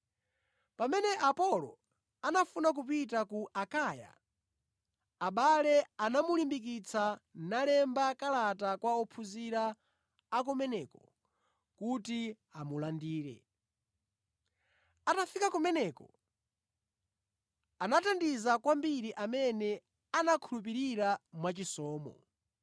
Pamene Apolo anafuna kupita ku Akaya, abale anamulimbikitsa, nalemba kalata kwa ophunzira a kumeneko kuti amulandire. Atafika kumeneko, anathandiza kwambiri amene anakhulupirira mwachisomo.